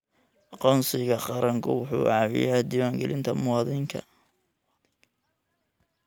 Aqoonsiga qaranku wuxuu caawiyaa diiwaangelinta muwaadinka.